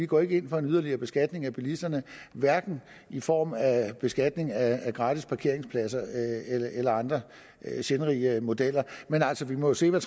går ind for en yderligere beskatning af bilisterne hverken i form af beskatning af gratis parkeringspladser eller andre sindrige modeller men altså vi må jo se hvad